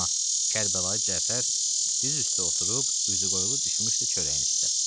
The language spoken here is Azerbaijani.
Amma Kərbəlayı Cəfər diz üstə oturub üzü qoyulu düşmüşdü çörəyin üstə.